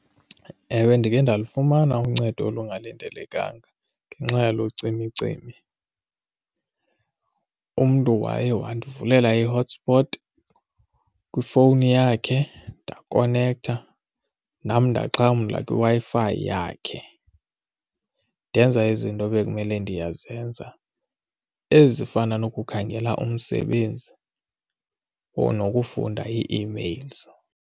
Ewe, ndakhe ndalifumana uncedo olungalindelekanga ngenxa yalo cimicimi. Umntu waye wandivulela i-hotspot kwifowuni yakhe ndakhonektha nam ndaxhamla kwiWi-Fi yakhe ndenza izinto ebekumele ndiyazenza ezifana nokukhangela umsebenzi or nokufunda ii-emails.